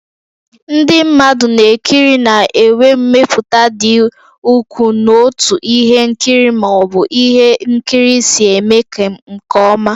Ndị mmadụ na-ekiri na-enwe mmetụta dị ukwuu n'otú ihe nkiri ma ọ bụ ihe nkiri si eme nke ọma.